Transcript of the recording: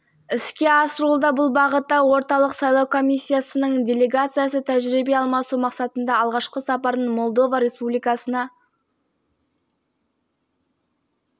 біз қазіргі уақытта халықаралық тәжірибеге көп көңіл бөліп отырмыз халықаралық процестің белсенді қатысушысына айналамыз бұл қадамдар